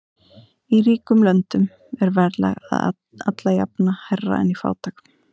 Í ríkum löndum er verðlag alla jafna hærra en í fátækum.